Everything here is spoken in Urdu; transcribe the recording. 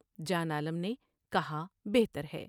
جان عالم نے کہا بہتر ہے ۔